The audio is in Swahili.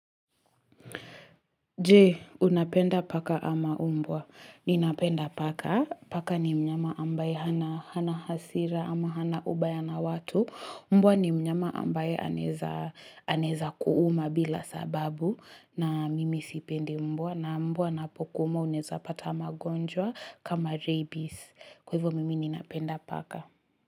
Jee, unapenda paka ama umbwa. Ninapenda paka. Paka ni mnyama ambaye hana hasira ama hana ubaya na watu. Umbwa ni mnyama ambaye aneza kuuma bila sababu. Na mimi sipende mbwa. Na mbwa napokuuma uneza pata magonjwa kama rabies. Kwa ivyo mimi ninapenda paka.